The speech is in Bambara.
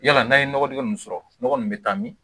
Yala n'a ye nɔgɔdɛgɛ mun sɔrɔ nɔgɔ nin bɛ taa min